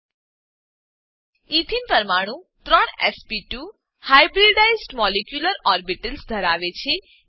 એથેને ethene પરમાણુ ત્રણ S P two hybridized molecular orbitals ધરાવે છે